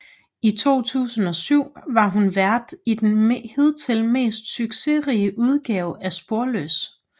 I 2007 var hun vært i den hidtil mest succesrige udgave af Sporløs